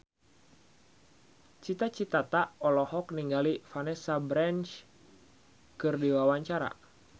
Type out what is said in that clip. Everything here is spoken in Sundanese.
Cita Citata olohok ningali Vanessa Branch keur diwawancara